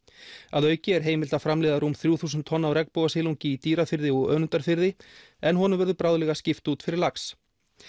að auki er heimilt að framleiða rúm þrjú þúsund tonn af regnbogasilungi í Dýrafirði og Önundarfirði en honum verður bráðlega skipt út fyrir lax